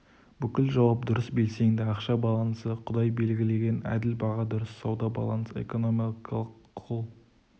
бүкіл жауап дұрыс белсенді ақша балансы құдай белгілеген әділ баға дұрыс сауда балансы экономикалық құл